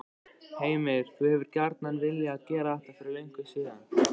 Heimir: Þú hefur gjarnan viljað gera þetta fyrir löngu síðan?